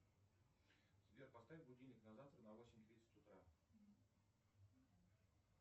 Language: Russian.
сбер поставь будильник на завтра на восемь тридцать утра